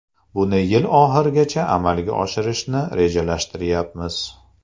Buni yil oxirigacha amalga oshirishni rejalashtirayapmiz.